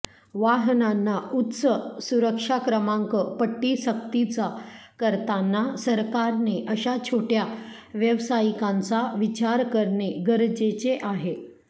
वाहनांना उच्च सुरक्षा क्रमांक पट्टी सक्तीचा करताना सरकारने अशा छोटय़ा व्यावसायिकांचा विचार करणे गरजेचे आहे